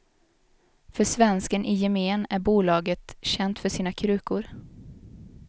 För svensken i gemen är bolaget känt för sina krukor.